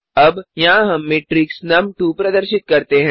अब यहाँ हम मैट्रिक्स नुम2 प्रदर्शित करते हैं